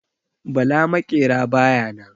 Bala maƙera baya nan.